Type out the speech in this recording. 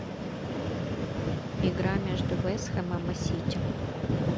игра между вест хэмом и сити